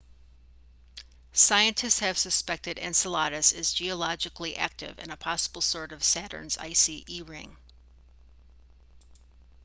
scientists have suspected enceladus as geologically active and a possible source of saturn's icy e ring